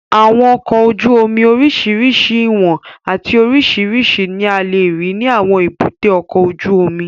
Àwọn ọkọ̀ ojú omi oríṣiríṣi ìwọ̀n àti oríṣiríṣi ní a lè rí ní àwọn èbúté ọkọ̀ ojú omi